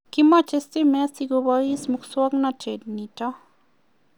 kimache stimet si keboishe muswognatet nitok